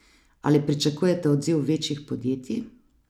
Ali pričakujete odziv večjih podjetij?